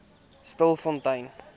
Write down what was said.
stilfontein